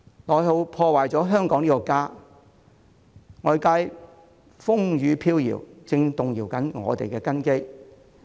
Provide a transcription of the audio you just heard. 內耗破壞了香港這個家，外界風雨飄搖，正在動搖我們的根基。